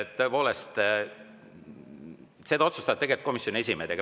Tõepoolest, seda otsustavad komisjonide esimehed.